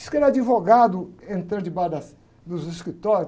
Diz que ele é advogado entrando debaixo das, dos escritórios.